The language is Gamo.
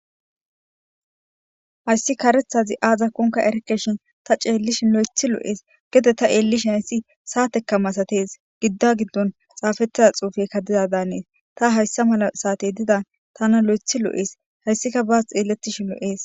Hayssi karethazi aaza konka erekeshin ta ceellishin lo,ethi lo,ees gede ta eellishin hayssi saateka masatees gidda giddon xaafettida xuufekka dida dannees ta hayssa mala saate dida tana lo,ethi lo,ees hayssika baas xeelettishin lo,ees.